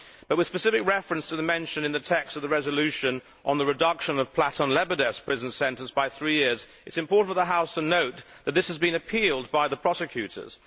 But with specific reference to the mention in the text of the resolution of the reduction of Platon Lebedev's prison sentence by three years, it is important for the House to note that this has been appealed by the prosecutors.